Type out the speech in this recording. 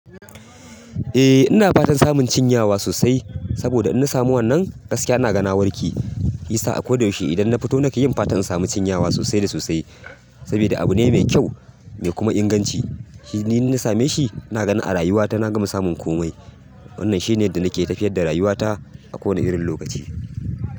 Eh ina fatan samun cinyewa sosai saboda in na samu wannan gaskiya ana ga na warke. Shiyasa a koda yaushe idan na fito nake fatan samun cinyewa a sosai da sosai saboda abu ne mai kyau mai kuma inganci. Ni in na same shi na gani a rayuwata na gama samun komai. Wannan shine inda nake tafiyar da rayuwata a kowane irin lokaci.